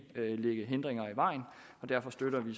lægge hindringer i vejen og derfor støtter vi